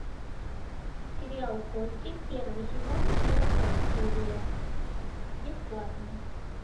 сериал кости первый сезон первая серия бесплатно